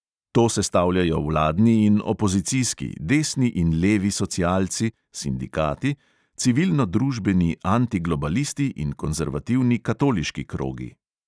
To sestavljajo vladni in opozicijski, desni in levi socialci, sindikati, civilno-družbeni antiglobalisti in konzervativni katoliški krogi.